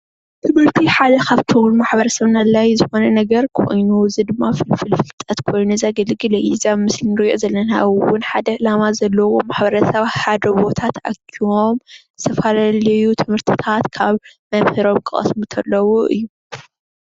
ትምህርቲ ሓደ ካብቶም ንማሕበረሰብና ኣድልዪ ዝኮነ ነገር ኮይኑ እዚ ድማ ፍልፍል ፍልጠት ኮይኑ ዘገልግል እዩ። እዚ ኣብ ምስሊ ንሪኦ ዘለና እዉን ሓደ ዕላማ ዘለዎም ማሕበረሰብ ኣብ ሓደ ቦታ ተኣኪቦም ዝተፈላለዩ ትምህርቲታት ካብ መምህሮም ክቀስሙ ከለዉ እዩ ።